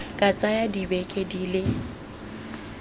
ka tsaya dibeke di le